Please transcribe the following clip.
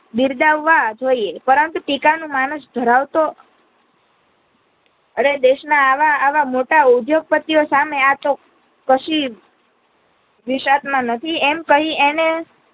બિરદાવવા જોઈએ પરંતુ ટીકા નું માનુષ ધરાવતો અરે દેશ ના આવા આવા મોટા ઉદ્યોગ પતિ ઓ સામે આતો કશી વિશાખના માં નથી એમ કહી એને